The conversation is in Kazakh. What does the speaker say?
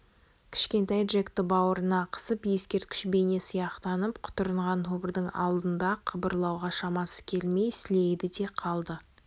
кішкентай джекті бауырына қысып ескерткіш бейне сияқтанып құтырынған тобырдың алдында қыбырлауға шамасы келмей сілейді де қалды